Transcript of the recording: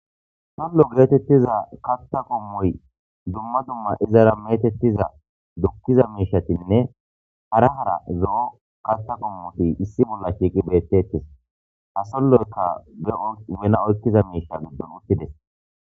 Solo geetetiza katha qommoy dumma dumma izara meetethiza dukiza miishatinne hara hara zo'o kaththa qommoti issi bolla shiiqi betetees. Ha soloykka de'os waana miisha giddon utidees.